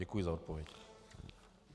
Děkuji za odpověď.